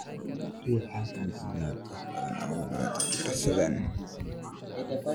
RIIX HALKAN si aad wax badan uga barato daraasaddan.